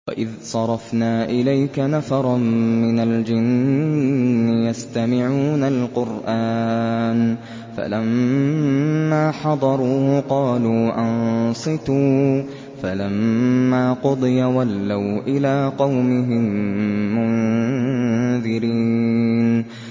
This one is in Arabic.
وَإِذْ صَرَفْنَا إِلَيْكَ نَفَرًا مِّنَ الْجِنِّ يَسْتَمِعُونَ الْقُرْآنَ فَلَمَّا حَضَرُوهُ قَالُوا أَنصِتُوا ۖ فَلَمَّا قُضِيَ وَلَّوْا إِلَىٰ قَوْمِهِم مُّنذِرِينَ